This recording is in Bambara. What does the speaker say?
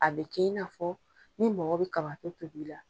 A be kɛ in n'a fɔ ni mɔgɔ be kabato tobi la